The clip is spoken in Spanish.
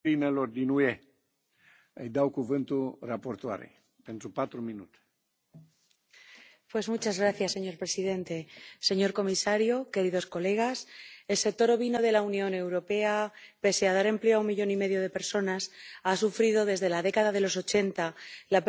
Señor presidente, señor comisario, señorías, el sector ovino de la Unión Europea, pese a dar empleo a un millón y medio de personas, ha sufrido desde la década de los ochenta la pérdida de 25 millones de cabezas de ganado, y desde el año 2001 hemos perdido la producción en más de un